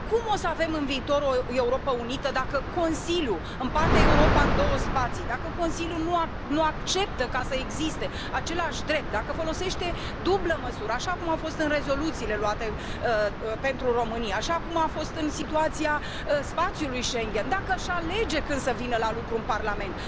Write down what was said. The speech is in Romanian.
Cum o să avem în viitor o Europă unită dacă Consiliul împarte Europa în două spații, dacă Consiliul nu acceptă să existe aceleași drepturi, dacă folosește dublă măsură, așa cum a fost în rezoluțiile luate pentru România, așa cum a fost în situația spațiului Schengen, dacă își alege când să vină la lucru în Parlament?